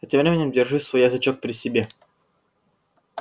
а тем временем держи свой язычок при себе